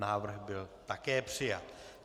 Návrh byl také přijat.